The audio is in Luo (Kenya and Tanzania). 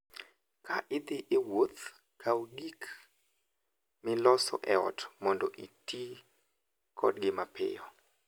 Ka idhi e wuoth, to kaw gik miloso e ot mondo iti kodgi mapiyo.